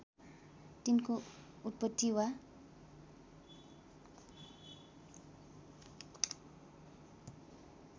तिनको उत्पत्ति वा